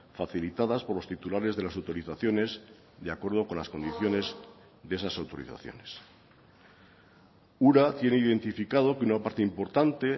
facilitadas por los titulares de las autorizaciones de acuerdo con las condiciones de esas autorizaciones ura tiene identificado que una parte importante